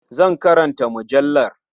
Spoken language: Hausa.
Zan karanta mujallar.